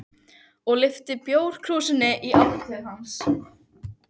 og lyfti bjórkrúsinni í átt til hans.